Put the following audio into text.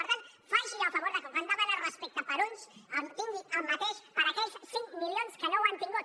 per tant faci el favor que quan demana respecte per a uns tingui el mateix per aquells cinc milions que no ho han tingut